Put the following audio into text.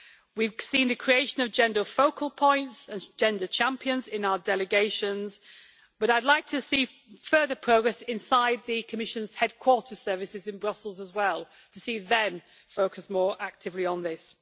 We have seen the creation of gender focal points and gender champions in our delegations, but I would like to see further progress inside the Commission's headquarter services in Brussels as well, to see them focus more actively on this.